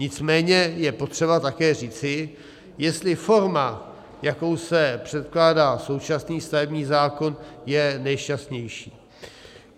Nicméně je potřeba také říci, jestli forma, jakou se předkládá současný stavební zákon, je nejšťastnější.